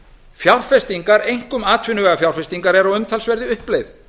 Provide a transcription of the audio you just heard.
fjárfestingar einkum atvinnuvegafjárfestingar eru á umtalsverðri uppleið